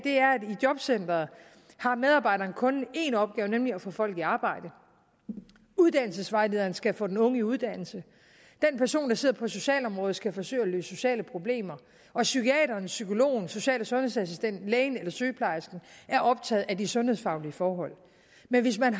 i jobcentret har medarbejderen kun én opgave nemlig at få folk i arbejde uddannelsesvejlederen skal få den unge i uddannelse den person der sidder på socialområdet skal forsøge at løse sociale problemer og psykiateren psykologen social og sundhedsassistenten lægen eller sygeplejersken er optaget af de sundhedsfaglige forhold men hvis man